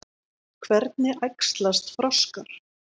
Hvernig æxlast froskar?